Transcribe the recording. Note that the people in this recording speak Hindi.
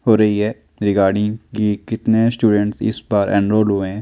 हो रही है ये गाड़ी कि कितने स्टूडेंट इस पार हुए है?